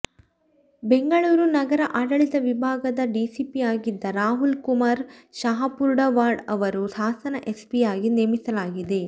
ಬೆಂಗಳೂರ ನಗರ ಆಡಳಿತ ವಿಭಾಗದ ಡಿಸಿಪಿಯಾಗಿದ್ದ ರಾಹುಲ್ ಕುಮಾರ್ ಶಹಾಪುರ್ವಾಡ್ ಅವರನ್ನು ಹಾಸನ ಎಸ್ಪಿಯಾಗಿ ನೇಮಿಸಲಾಗಿದೆ